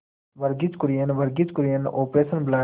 Verghese Kurien Verghese Kurien operation blood